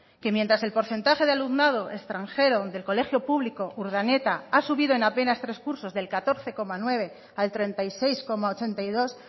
que mientras el porcentaje de alumnado extranjero del colegio público urdaneta ha subido en apenas tres cursos del catorce coma nueve al treinta y seis coma ochenta y dos